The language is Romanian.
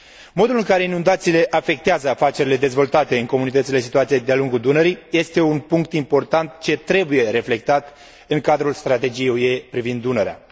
Modul în care inundațiile afectează afacerile dezvoltate în comunitățile situate de a lungul Dunării este un punct important ce trebuie reflectat în cadrul strategiei UE privind Dunărea.